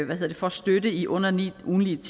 barnet får støtte i under ni